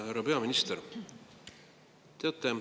Härra peaminister!